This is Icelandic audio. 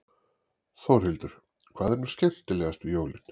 Þórhildur: Hvað er nú skemmtilegast við jólin?